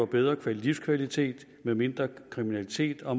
bedre livskvalitet med mindre kriminalitet og